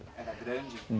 Era grande?